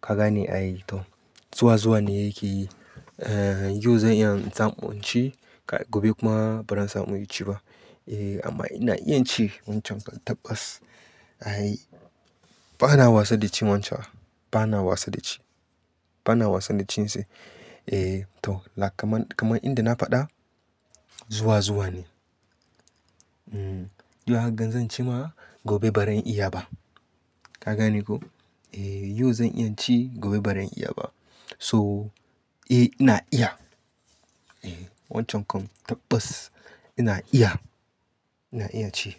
Ka gane ai to. Zuwa zuwa ne yake yi. Eh, yau zan iya in samu in ci gobe kuma ba zan samu yi ci ba. Eh amma ina iya ci wancan kan tabas. Ai bana wasa da ci wancan. Bana wasa da ci. Bana wasa da cin sai. Eh to, kamar, kamar inda na faɗa zuwa zuwa ne. Yau hagan zan ci ma gobe ba zan iya ba. Ka gane ko? Eh yau zan iya ci gobe ba zan iya ba. So, eh ina iya. Wancan kan tabas ina iya. Ina iya ci.